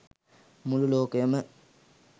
මුළු ලෝකයම